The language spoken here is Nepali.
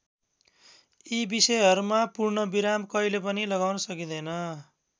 यी विषयहरूमा पूर्ण विराम कहिले पनि लगाउन सकिँदैन।